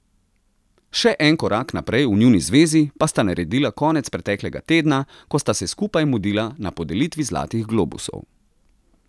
Še en korak naprej v njuni zvezi pa sta naredila konec preteklega tedna, ko sta se skupaj mudila na podelitvi zlatih globusov.